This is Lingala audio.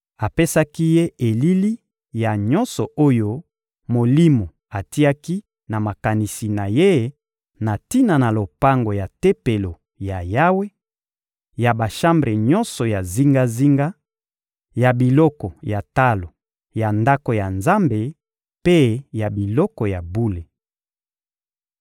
Apesaki ye elili ya nyonso oyo molimo atiaki na makanisi na ye na tina na lopango ya Tempelo ya Yawe, ya bashambre nyonso ya zingazinga, ya biloko ya talo ya Ndako ya Nzambe mpe ya biloko ya bule.